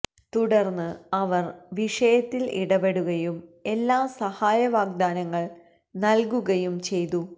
തുടർന്ന് അവർ വിഷയത്തിൽ ഇടപെടുകയും എല്ലാ സഹായ വാഗ്ദാനങ്ങൾ നൽകുകയും ചെയ്തു